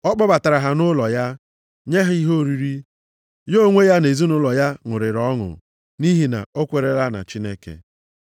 Ọ kpọbatara ha nʼụlọ ya, nye ha ihe oriri. Ya onwe ya na ezinaụlọ ya ṅụrịrị ọṅụ nʼihi na o kwerela na Chineke.